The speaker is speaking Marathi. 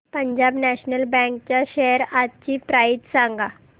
पंजाब नॅशनल बँक च्या शेअर्स आजची प्राइस सांगा